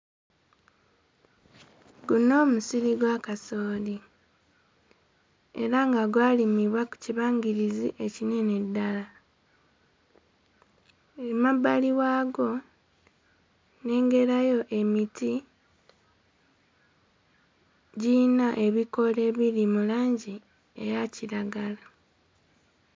Guno musiri gwa kasooli era nga gwalimibwa ku kibangirizi ekinene ddala, emabbali waagwo nnengerayo emiti giyina ebikoola ebiri mu langi eya kiragala.